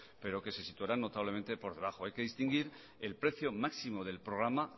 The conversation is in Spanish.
pero que se situaran notablemente por debajo hay que distinguir el precio máximo del programa